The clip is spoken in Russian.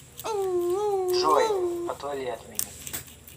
джой отвали от меня